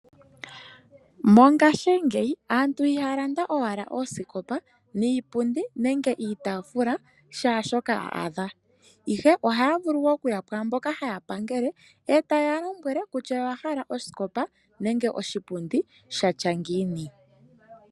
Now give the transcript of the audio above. Mongaashingeyi aantu I ha ya landa owala oosikopa niipundi nenge iitaafula kehe shoka a adha, ihe oha yavulu oku ya kwaamboka haya kwathele e ta ye ya lombwele kutya oya hala osikopa nenge oshipundi shatya ngiini.